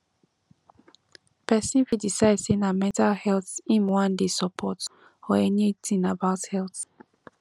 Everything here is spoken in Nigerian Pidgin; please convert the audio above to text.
persin fit decide say na mental health im won de support or any thing about health